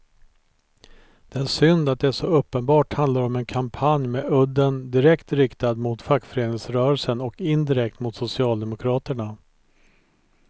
Det är synd att det så uppenbart handlar om en kampanj med udden direkt riktad mot fackföreningsrörelsen och indirekt mot socialdemokraterna.